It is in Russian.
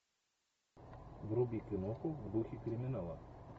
вруби киноху в духе криминала